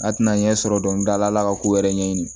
A tɛna ɲɛ sɔrɔ dɔɔni dala ala ka ko wɛrɛ ɲɛɲini